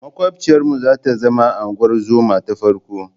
Maƙwabciyarmu za ta zama unguwar zoma ta farko.